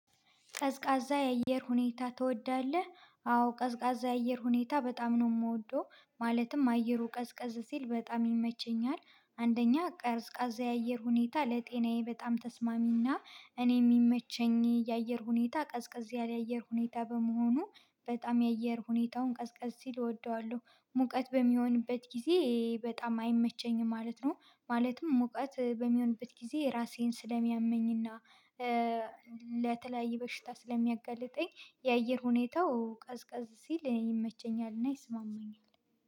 ቀዝቃዛ የአየር ሁኔታ ትወዳለህ? አዎ ቀዝቃዛ የአየር ሁኔታ በጣም ነው የምወደው ማለትም አየሩ ቀዝቀዝ ሲል በጣም ይመቸኛል። አንደኛ ቀዝቃዛ የአየር ሁኔታ ለጤናዬ በጣም ተስማሚና እኔ የሚመቸኝ የአየር ሁኔታ ቀዝቀዝ ያለ አየር ሁኔታ በመሆኑ። በጣም የአየር ሁኔታውን ቀዝ ቀዝ ሲል እወደዋለሁ ሙቀት በሚሆንበት ጊዜ በጣም አይመቸኝም ማለት ነው። ማለትም ሙቀት በሚሆንበት ጊዜ ራሴን ስለሚያመኝና ለተለያየ በሽታ ስለሚያጋልጠኝ። የአየር ሁኔታው ቀዝቀዝ ሲል ይመቸኛልና ይስማማኛል።